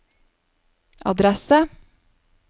adresse